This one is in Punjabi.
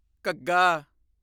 ਘੱਘਾ